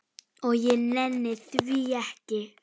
Og því nenni ég ekki.